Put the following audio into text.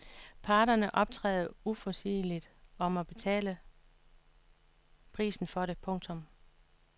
Parterne optræder uforudsigeligt og må betale prisen for det. punktum